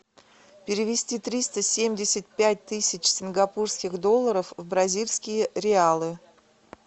перевести триста семьдесят пять тысяч сингапурских долларов в бразильские реалы